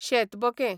शेतबकें